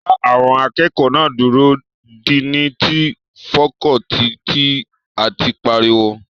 Dá àwọn akẹ́kọ̀ọ́ náà dúró! díìní ti fakọọti ti áàtì pariwo